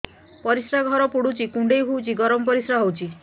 ପରିସ୍ରା ଘର ପୁଡୁଚି କୁଣ୍ଡେଇ ହଉଚି ଗରମ ପରିସ୍ରା ହଉଚି